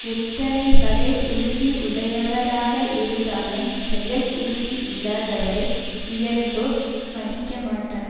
எத்தனை வகை உறுதி உடையவராக இருந்தாலும் செயல் உறுதி இல்லாதவரை உயர்ந்தோர் மதிக்கமாட்டார்